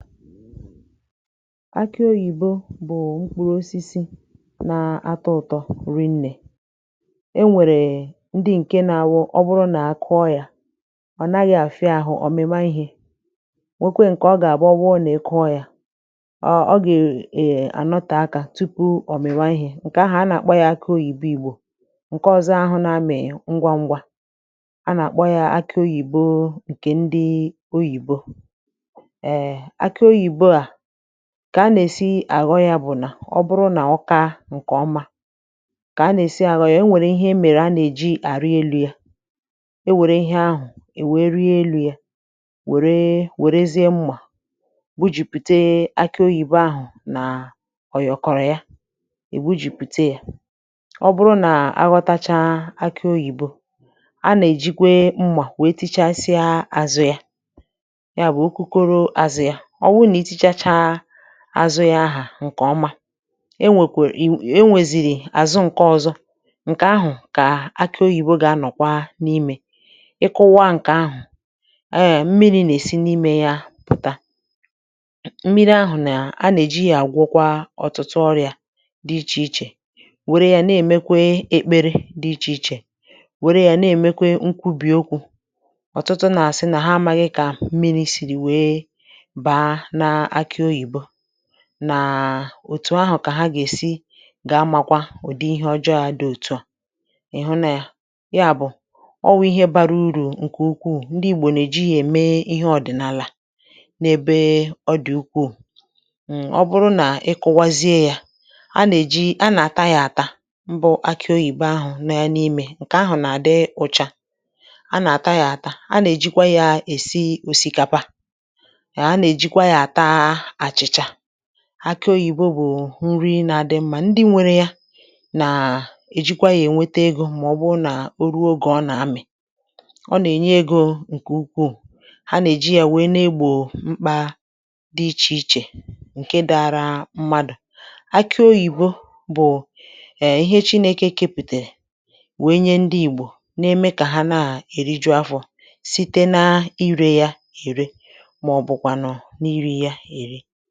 Akị̇ oyìbo bụ̀ mkpuru osisi na-atọ̇ ụ̀tọ rinnè, e nwèrè ndi ǹke na-awụ ọ bụrụ nà akụọ yȧ ọ̀ naghị̇ àfịa àhụ ọ̀mịma ihė, nwekwė ǹkè ọ gà-àbụ owu nà-ekụọ yȧ, ọ gà-ànọtà akȧ tupu ọ̀mị̀mà ihė ǹkè ahụ̀ a nà-àkpọ ya akị oyìbo ìgbò, ǹkè ọzọ ahụ̇ na-amị̀ ngwa ngwa a nà-àkpọ ya akị oyìbo ǹkè ndi oyìbo, ee aki oyibo a kà a nà-èsi àghọ yȧ bụ̀ nà ọ bụrụ nà ọ kȧ ǹkè ọma kà a nà-èsi àghọ ya e nwèrè ihe emèrè anà-èji àrị elu̇ ya e nwèrè ihe ahụ̀, ị̀ wėrị elu̇ ya wère wèrezie mmà bujìpùte akị oyìbo ahụ̀ nà ọ̀ yọ̀kọ̀rọ̀ ya è bujìpùte yȧ ọ bụrụ nà aghọtacha akị oyìbo a nà-èjikwe mmà wee tichasịa àzụ ya, ya bụ̀ okokoro àzụ ya àzụ yȧ, owu na itichacha azụ ya ahụ nke ọma, enwekwere e nweziri azụ ǹke ọ̇zọ̇ ǹkè ahụ̀ kà aki oyìbò gà-anọ̀kwa n’imė, ịkụwa ǹkè ahụ̀ a mmiri̇ nà-èsi n’imė yȧ pùta mmiri ahụ̀ nà a nà-èji yȧ àgwọkwa ọ̀tụtụ ọrị̇ȧ dị ichè ichè wère yȧ na-èmekwe ekpere dị ichè ichè, wère yȧ na-èmekwe nkwubìokwu̇, ọ̀tụtụ nà-àsị nà ha amaghị kà mmiri̇ sìrì wee mmiri sịrị wee baa n'ime aki oyibo nà òtù ahụ̀ kà ha gà-èsi gà-amȧkwa ụ̀dị ihe ọjọ̇ a dị òtu à ị̀hụ na yȧ, ya bụ̀, ọ wụ̇ ihe bara urù ǹkè ukwuù ndị igbò nà-èji yȧ ème ihe ọ̀dị̀nàlà n’ebe ọ dị̀ ukwuù. m obụrụ nà ị kuwazie yȧ a nà-èji a nà-àta yȧ àta mbụ akị oyìbo ahụ̀ nọ ya imė ǹkè ahụ̀ nà-àdị ụ̇chà, a nà-àta yȧ àta, a nà-èjikwa yȧ èsi òsikapa, ee ana-ejìkwà ya-àta achịcha, akị oyìbo bụ̀ nri na-adị mmȧ, ndị nwere ya nà-èjikwa yȧ ènwete egȯ màọbụ̀ nà o ruo ogè ọ nà-amị̀, ọ nà-ènye egȯ ǹkè ukwuù, ha nà-èji yȧ wee na-egbò mkpȧ dị ichè ichè ǹke dara mmadụ̀, akị oyìbo bụ̀ ee ihe chinėke kepùtèrè wèe nye ndị ìgbò na-eme kà ha na-èriju afọ̀ site na irė ya ère, maọbụ kwa iri ya èri.